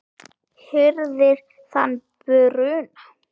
hirðir þann bruna